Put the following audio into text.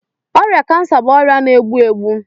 Ọrịa cancer bụ ọrịa na-egbu egbu.